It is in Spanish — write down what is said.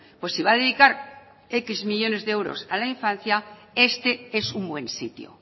pues si va a dedicar décimo millónes de euros a la infancia este es un buen sitio